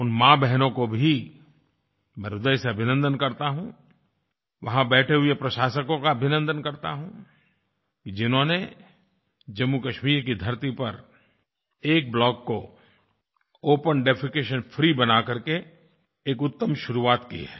उन माँबहनों को भी मैं ह्रदय से अभिनन्दन करता हूँ वहाँ बैठे हुए प्रशासकों का भी अभिनन्दन करता हूँ कि जिन्होंने जम्मूकश्मीर की धरती पर एक ब्लॉक को ओपन डेफेकेशन फ्री बनाकर के एक उत्तम शुरुआत की है